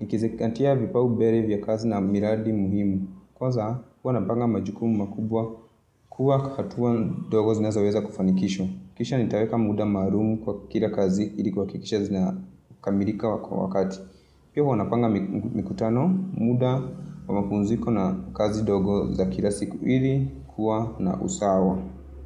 Nikizingatia vipaumbele vya kazi na miradi muhimu. Kwanza, huwa napanga majukumu makubwa, kuwa hatua ndogo zinazoweza kufanikishwa. Kisho nitaweka muda maalum kwa kila kazi, ili kuhakikisha zinakamilika kwa wakati. Pia huwa napanga mikutano, muda wa mapumziko na kazi ndogo za kila siku ili kuwa na usawa.